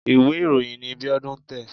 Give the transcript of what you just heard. Ìwé ìròyìn ni Bíọ́dún ń tẹ̀.